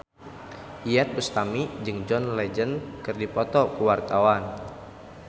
Iyeth Bustami jeung John Legend keur dipoto ku wartawan